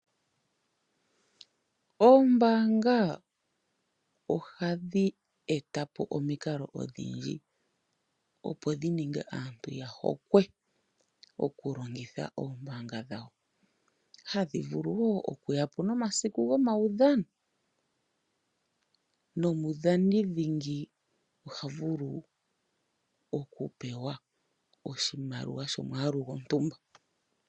Oombaanga ohadhi e ta po omikalo odhindji opo dhi ninge aantu ya hokwe oku longitha oombaanga dhawo. Ohadhi vulu oku ya po nomasiku gomaudhano nomudhani ndingi oha vulu oku pewa oshimaliwa shomwaalu gontumba.